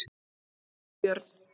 Valbjörn